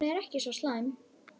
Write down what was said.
Hún er ekki svo slæm.